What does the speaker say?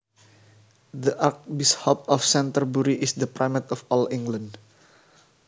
The Archbishop of Canterbury is the Primate of all England